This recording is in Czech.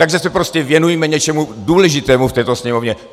Tak se prostě věnujme něčemu důležitému v této Sněmovně.